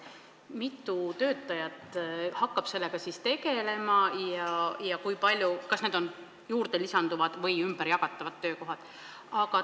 Mitu töötajat hakkab sellega siis tegelema ja kas need on lisanduvad või ümberjagatavad töökohad?